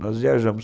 Nós viajamos.